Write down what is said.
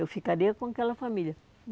Eu ficaria com aquela família.